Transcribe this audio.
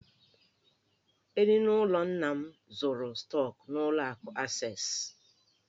Eninụlọ nna m zụrụ stọk n'ụlọ akụ Acesị.